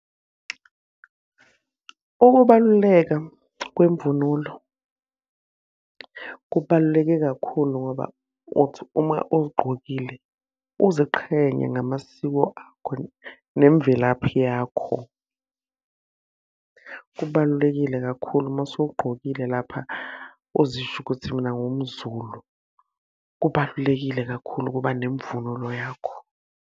Ukubaluleka kwemvunulo kubaluleke kakhulu ngoba uthi uma uzigqokile uziqhenye ngamasiko akho nemvelaphi yakho. Kubalulekile kakhulu uma usugqokile lapha uzisho ukuthi mina ngiwumZulu. Kubalulekile kakhulu ukuba nemvunulo yakho.